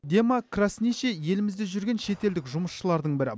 дема красничий елімізде жүрген шетелдік жұмысшылардың бірі